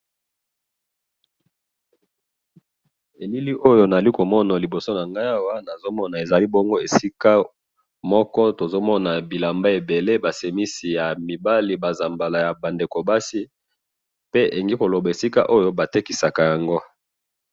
Na moni esika batekisaka bilamba ya basi na mibali.